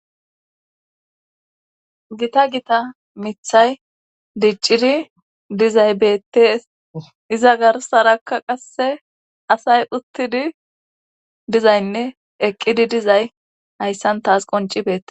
gita gita mithay diccidi dizay beettees iza garsarakka qasse asay uttidi dizaynne eqqidi dizay hayssan taas qonci bete